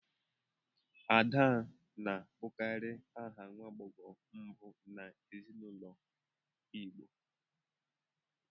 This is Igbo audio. Ada na-abụkarị aha nwa agbọghọ mbụ n'ezinụlọ igbo